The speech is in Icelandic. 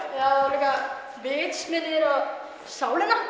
líka vitsmunir og sálina